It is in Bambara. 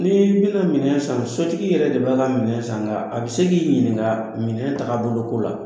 N'ii bɛna minɛn san, sotigi yɛrɛ de b'a ka minɛn san nka a be se k'i ɲininka minɛn tagabolo ko la.